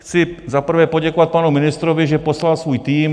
Chci za prvé poděkovat panu ministrovi, že poslal svůj tým.